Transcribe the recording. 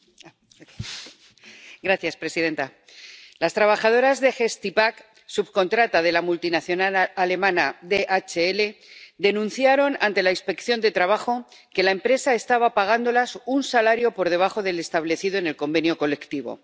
Señora presidenta, las trabajadoras de Gestipack, subcontrata de la multinacional alemana DHL, denunciaron ante la Inspección de Trabajo que la empresa estaba pagándoles un salario por debajo del establecido en el convenio colectivo.